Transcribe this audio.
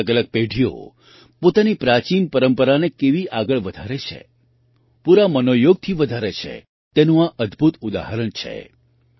અલગઅલગ પેઢીઓ પોતાની પ્રાચીન પરંપરાને કેવી આગળ વધારે છે પૂરા મનોયોગથી વધારે છે તેનું આ અદ્ભુત ઉદાહરણ છે